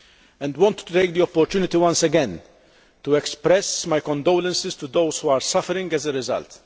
and want to take the opportunity once again to express my condolences to those who are suffering as a result.